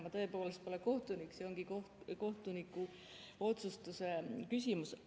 Ma tõepoolest pole kohtunik, see ongi kohtuniku otsustuse küsimus.